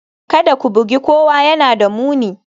Kada ku bugi kowa, yana da muni